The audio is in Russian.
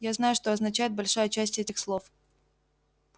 я знаю что означает большая часть этих слов